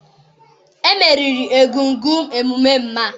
emeriri egúngún emume mma